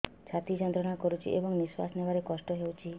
ଛାତି ଯନ୍ତ୍ରଣା କରୁଛି ଏବଂ ନିଶ୍ୱାସ ନେବାରେ କଷ୍ଟ ହେଉଛି